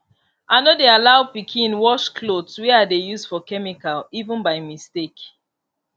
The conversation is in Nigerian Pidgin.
i no dey allow pikin wash cloth wey i dey use for chemical even by mistake